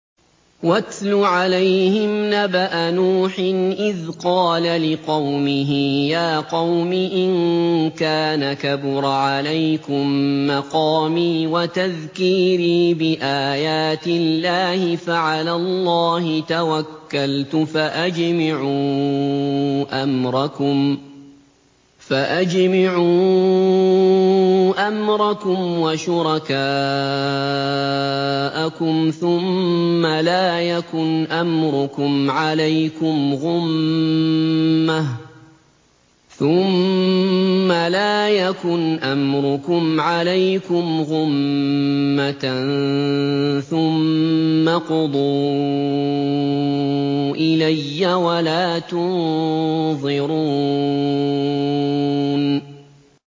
۞ وَاتْلُ عَلَيْهِمْ نَبَأَ نُوحٍ إِذْ قَالَ لِقَوْمِهِ يَا قَوْمِ إِن كَانَ كَبُرَ عَلَيْكُم مَّقَامِي وَتَذْكِيرِي بِآيَاتِ اللَّهِ فَعَلَى اللَّهِ تَوَكَّلْتُ فَأَجْمِعُوا أَمْرَكُمْ وَشُرَكَاءَكُمْ ثُمَّ لَا يَكُنْ أَمْرُكُمْ عَلَيْكُمْ غُمَّةً ثُمَّ اقْضُوا إِلَيَّ وَلَا تُنظِرُونِ